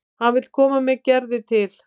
Hann vill koma með Gerði til